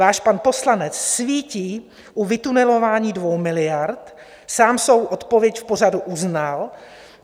Váš pan poslanec svítí u vytunelování 2 miliard, sám svou odpověď v pořadu uznal.